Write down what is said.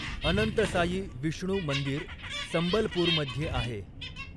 अनंतसायी विष्णू मंदिर संबलपूरमध्ये आहे.